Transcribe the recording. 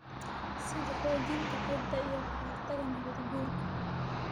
sida xoojinta ciidda iyo ka hortagga nabaad-guurka.